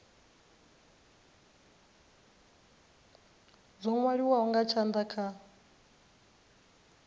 dzo nwaliwaho nga tshanda kha